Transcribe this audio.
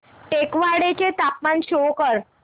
टेकवाडे चे तापमान शो कर